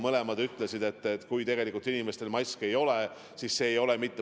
Mõlemad ütlesid, et tegelikult paljudel inimestel maske ei ole.